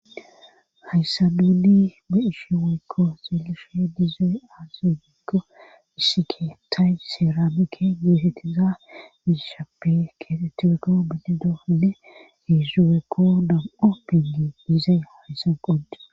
Hayssabidi be7ishi weykko seelishe diizey aasugekko issike tay seramike geetettiza giishappe keetettizeko biti doohide hiizzupekko dam7o pingi diizay hayssan qonde.